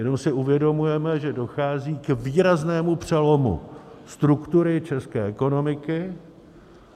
Jenom si uvědomujeme, že dochází k výraznému přelomu struktury české ekonomiky.